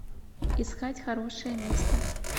искать хорошее место